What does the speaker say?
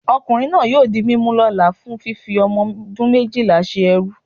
okunrin naa yóò dí mimú lola fún fífí omodún mejíla sé ẹrú